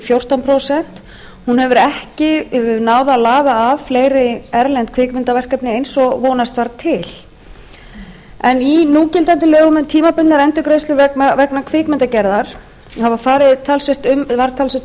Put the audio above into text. fjórtán prósent hún hefur ekki náð að laða að fleiri erlend kvikmyndaverkefni eins og vonast var til í núgildandi lögum um tímabundnar endurgreiðslur vegna kvikmyndagerðar var talsverð umfjöllun um